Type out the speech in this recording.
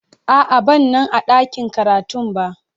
A'a, ban Nan a dakin karatun ba.